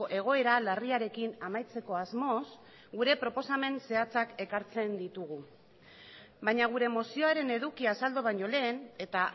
egoera larriarekin amaitzeko asmoz gure proposamen zehatzak ekartzen ditugu baina gure mozioaren edukia azaldu baino lehen eta